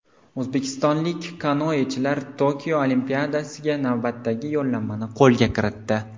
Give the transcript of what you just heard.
O‘zbekistonlik kanoechilar Tokio Olimpiadasiga navbatdagi yo‘llanmani qo‘lga kiritdi.